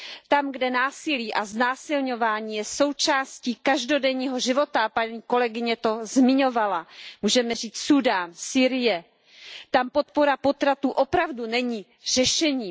Tam, kde násilí a znásilňování je součástí každodenního života, paní kolegyně to zmiňovala, můžeme říct Súdán, Sýrie, tam podpora potratů opravdu není řešením.